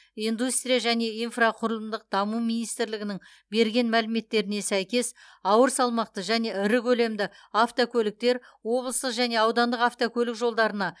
индустрия және инфрақұрылымдық даму министрлігінің берген мәліметтеріне сәйкес ауыр салмақты және ірі көлемді автокөліктер облыстық және аудандық автокөлік жолдарына